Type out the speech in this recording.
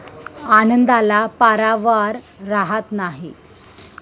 आनंदाला पारावार राहात नाही.